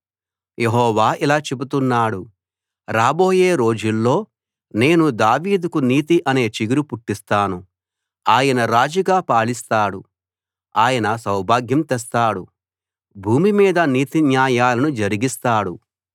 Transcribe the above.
యెహోవా ఇలా చెబుతున్నాడు రాబోయే రోజుల్లో నేను దావీదుకు నీతి అనే చిగురు పుట్టిస్తాను ఆయన రాజుగా పాలిస్తాడు ఆయన సౌభాగ్యం తెస్తాడు భూమి మీద నీతి న్యాయాలను జరిగిస్తాడు